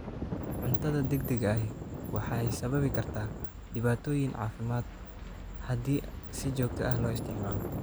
Cuntada degdega ahi waxay sababi kartaa dhibaatooyin caafimaad haddii si joogto ah loo isticmaalo.